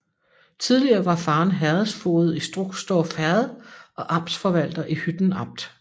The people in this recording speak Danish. Tidligere var faderen herredsfoged i Struxdorf Herred og amtsforvalter i Hytten Amt